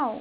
አዎ: